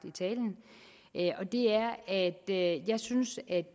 i talen og det er at jeg synes